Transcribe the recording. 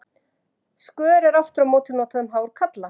Skör er aftur á móti notað um hár karla.